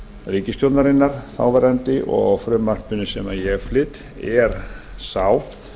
ríkisstjórnarinnar þáverandi og frumvarpinu sem ég flyt er sá